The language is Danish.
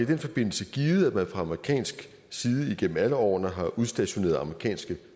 den forbindelse givet at man fra amerikansk side igennem alle årene har udstationeret amerikanske